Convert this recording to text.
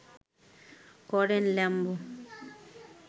করেন ল্যাম্ব